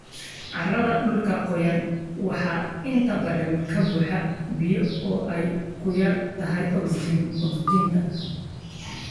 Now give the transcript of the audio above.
Carrada dhulka qoyan waxaa inta badan ka buuxa biyo oo ay ku yar tahay ogsijiinta.